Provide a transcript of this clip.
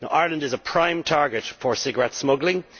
Ireland is a prime target for cigarette smuggling.